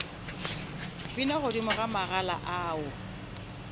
bina godimo ga magala ao